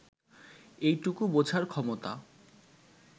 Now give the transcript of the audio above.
এইটুকু বোঝার ক্ষমতা